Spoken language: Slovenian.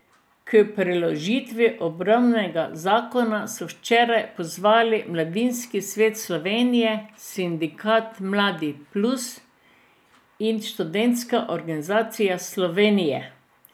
K preložitvi obravnave zakona so včeraj pozvali Mladinski svet Slovenije, Sindikat Mladi plus in Študentska organizacije Slovenije.